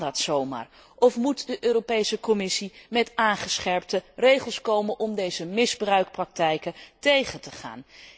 Kan dat zo maar of moet de Europese Commissie met aangescherpte regels komen om deze misbruikpraktijken tegen te gaan?